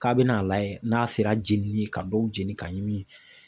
K'a bɛna a layɛ n'a sera jeni ka dɔw jeni ka ɲimi.